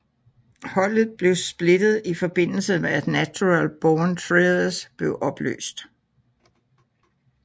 Holdet blev splittet i forbindelse med at Natural Born Thrillers blev opløst